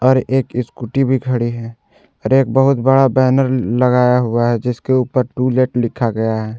और एक इस्कूटी भी खड़ी है और एक बहुत बड़ा बैनर ल लगाया हुआ है जिसके ऊपर टू लेट लिखा गया है।